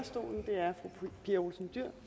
fru pia olsen dyhr